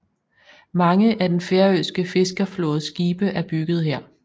Mange af den færøske fiskerflådes skibe er bygget her